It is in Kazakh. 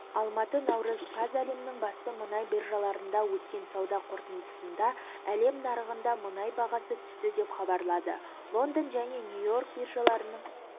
алматы наурыз қаз әлемнің басты мұнай биржаларында өткен сауда қорытындысында әлем нарығында мұнай бағасы түсті деп хабарлады лондон және нью-йорк биржаларының